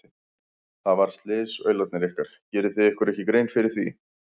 Það varð slys, aularnir ykkar, gerið þið ykkur ekki grein fyrir því?